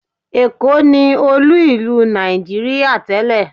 Ẹ̀kó ni olú ìlú Nàìjííríà tẹ́lẹ̀